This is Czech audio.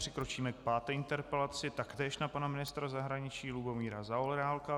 Přikročíme k páté interpelaci, taktéž na pana ministra zahraničí Lubomíra Zaorálka.